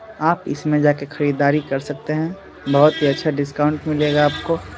आप इस में जाके खरीदारी कर सकते हैं। बोहत ही अच्छा डिस्काउंट मिलेगा आपको।